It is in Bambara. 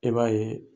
E b'a ye